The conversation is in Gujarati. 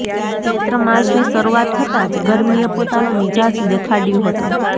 ચૈત્ર માસની શરૂઆત થતા જ ગરમીએ પોતાનો મિજાજ દેખાડયો હતો